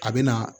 A bɛ na